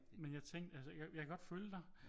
Men jeg tænkte altså jeg kan godt følge dig